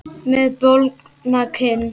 Með bólgna kinn.